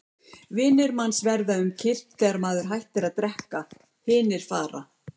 Vinir manns verða um kyrrt þegar maður hættir að drekka, hinir fara.